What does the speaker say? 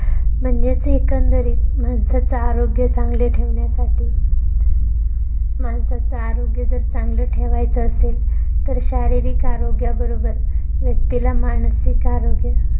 म्हणजेच एकंदरीत माणसाचं आरोग्य चांगले ठेवण्यासाठी माणसाचं आरोग्य जर, चांगलं ठेवायचं असेल तर, शारीरिक आरोग्या बरोबर व्यक्तीला मानसिक आरोग्य